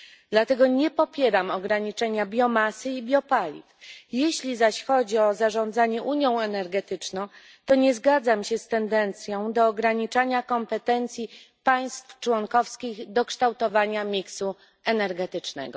Dlatego nie popieram ograniczenia biomasy i biopaliw. Jeśli zaś chodzi o zarządzanie unią energetyczną, to nie zgadzam się z tendencją do ograniczania kompetencji państw członkowskich do kształtowania koszyka energetycznego.